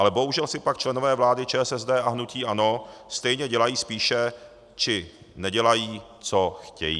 Ale bohužel si pak členové vlády ČSSD a hnutí ANO stejně dělají spíše, či nedělají, co chtějí.